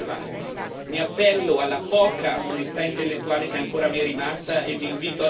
Avete privato della libertà di scelta il popolo ellenico e reso le sue decisioni irrilevanti.